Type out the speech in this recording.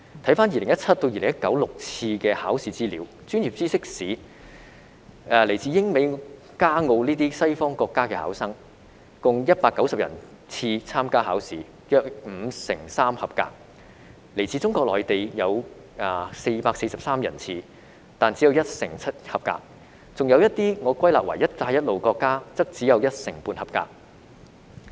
回看2017年至2019年6次的考試資料，在專業知識試，來自英美加澳等西方國家的考生，共有190人次參加考試，約五成三及格；來自中國內地的有443人次，但只有一成七及格，還有一些我歸納為"一帶一路"的國家，則只有一成半及格。